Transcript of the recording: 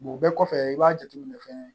o bɛɛ kɔfɛ i b'a jateminɛ fɛnɛ